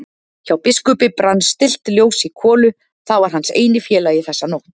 Hjá biskupi brann stillt ljós í kolu, það var hans eini félagi þessa nótt.